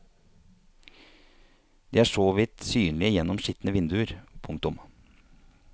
De er så vidt synlige gjennom skitne vinduer. punktum